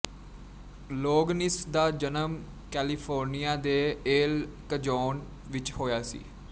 Louganis ਦਾ ਜਨਮ California ਦੇ ਏਲ ਕਜੋਨ ਵਿੱਚ ਹੋਇਆ ਸੀ